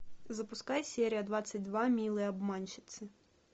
запускай серия двадцать два милые обманщицы